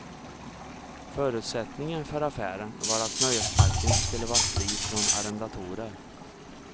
Förutsättningen för affären var att nöjesparken skulle vara fri från arrendatorer.